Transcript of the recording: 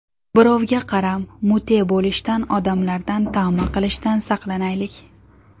Birovga qaram, mute bo‘lishdan, odamlardan tama qilishdan saqlanaylik.